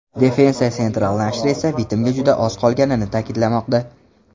Defensa Central nashri esa bitimga juda oz qolganini ta’kidlamoqda.